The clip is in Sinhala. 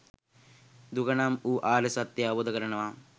දුක නම් වූ ආර්ය සත්‍යය අවබෝධ කරනවා